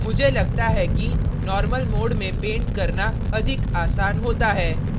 मुझे लगता है कि normal mode में paint करना अधिक आसान होता है